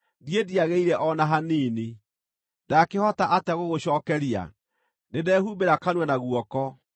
“Niĩ ndiagĩrĩire o na hanini; ndaakĩhota atĩa gũgũcookeria? Nĩndehumbĩra kanua na guoko.